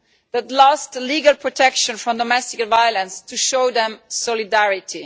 that have lost legal protection from domestic violence, to show them solidarity.